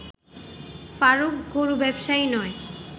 ফারুক গরু ব্যবসায়ী নয়